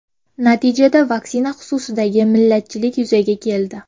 Natijada vaksina xususidagi millatchilik yuzaga keldi.